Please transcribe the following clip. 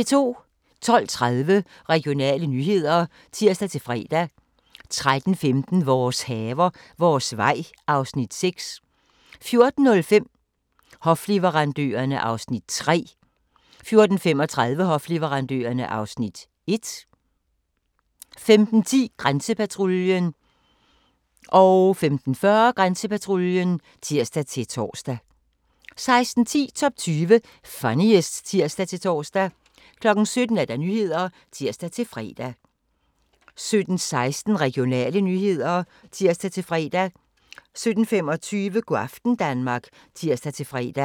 12:30: Regionale nyheder (tir-fre) 13:15: Vores haver, vores vej (Afs. 6) 14:05: Hofleverandørerne (Afs. 3) 14:35: Hofleverandørerne (Afs. 1) 15:10: Grænsepatruljen (tir-tor) 15:40: Grænsepatruljen (tir-tor) 16:10: Top 20 Funniest (tir-tor) 17:00: Nyhederne (tir-fre) 17:16: Regionale nyheder (tir-fre) 17:25: Go' aften Danmark (tir-fre)